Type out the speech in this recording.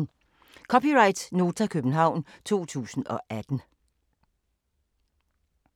(c) Nota, København 2018